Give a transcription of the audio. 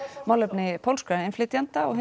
málefni pólskra innflytjenda og